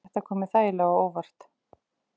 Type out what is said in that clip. Þetta kom mér þægilega á óvart